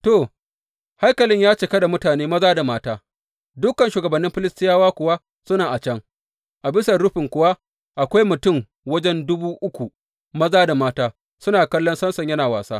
To, haikalin ya cika da mutane maza da mata; dukan shugabannin Filistiyawa kuwa suna a can, a bisan rufin kuwa akwai mutum wajen dubu uku maza da mata suna kallon Samson yana wasa.